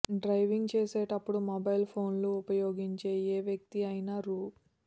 driving చేసేటప్పుడు mobile phone లు ఉపయోగించే ఏ వ్యక్తి అయినా రూ